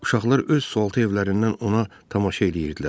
Uşaqlar öz sualtı evlərindən ona tamaşa eləyirdilər.